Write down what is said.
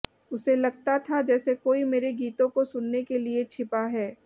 उसे लगता था जैसे कोई मेरे गीतों को सुनने के लिए छिपा है